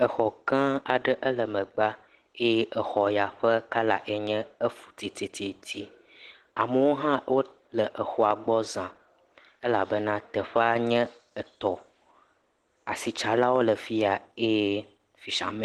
Exɔ gã aɖe ele megbea eye exɔ ya ƒe kɔla ye nye efutititi. Amewo hã wo le exɔa gbɔ za elabena teƒea nye etɔ. Asitsalawo le afi ya eye fisha.